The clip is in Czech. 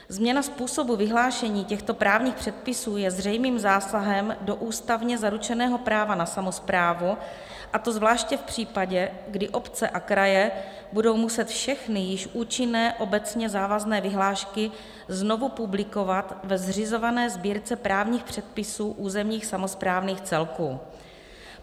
Změna způsobu vyhlášení těchto právních předpisů je zřejmým zásahem do ústavně zaručeného práva na samosprávu, a to zvláště v případě, kdy obce a kraje budou muset všechny již účinné obecně závazné vyhlášky znovu publikovat ve zřizované Sbírce právních předpisů územních samosprávných celků.